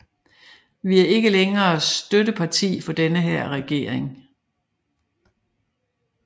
Vi er ikke længere støtteparti for denne her regering